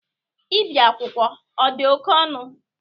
Ibi akwụkwọ ọ dị oke ọnụ?